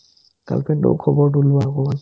girlfriend টোৰ খবৰটো লোৱা অকমান